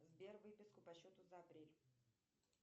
сбер выписку по счету за апрель